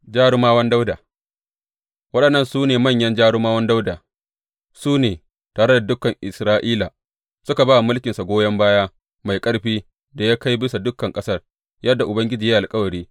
Jarumawan Dawuda Waɗannan su ne manyan jarumawan Dawuda, su ne, tare da dukan Isra’ila, suka ba wa mulkinsa goyon baya mai ƙarfi da ya kai bisa dukan ƙasar, yadda Ubangiji ya yi alkawari.